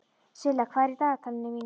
Silla, hvað er í dagatalinu mínu í dag?